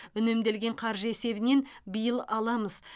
үнемделген қаржы есебінен биыл аламыз